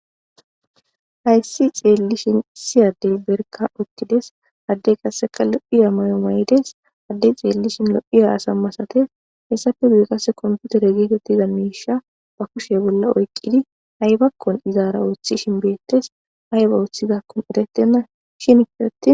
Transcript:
hayssi xeellishin isi adey berka uttides addey qasseqa lo'iya mayo may'des addey xeellishin lo'iya aasa masate hessafe guye qase komputere geetettiza miisha ba kushe bolla oykkkidi aybakkon izaara ooththishin beettes ayba oththizakkun erettennashin